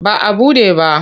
Ba a buɗe ba.